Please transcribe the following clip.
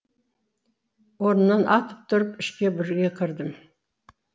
орнымнан атып тұрып ішке бірге кірдім